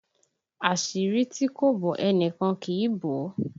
Àṣírí tí kò bò, ẹnìkan kì í bò ó!